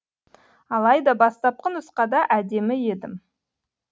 алайда бастапқы нұсқада әдемі едім